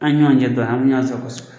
An ye ɲɔgɔn cɛ dɔn anye ɲɔgɔn sago